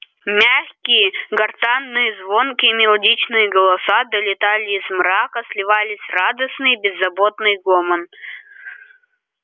мягкие гортанные звонкие мелодичные голоса долетали из мрака сливались в радостный беззаботный гомон